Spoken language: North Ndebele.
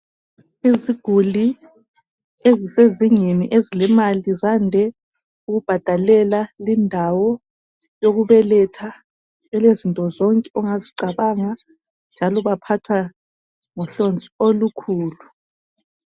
Izigulani ezilemali ziyande ukubhadalela lindawo yokubeletha elezinto zonke ongazicanga njalo baphathwa ngohlonzi olukhulu